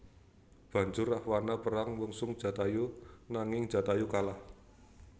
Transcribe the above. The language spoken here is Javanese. Banjur Rahwana perang mungsuh Jatayu nanging Jatayu kalah